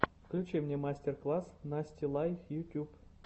включи мне мастер класс насти лай ютюб